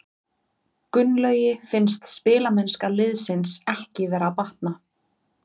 Gunnlaugi finnst spilamennska liðsins ekki vera að batna.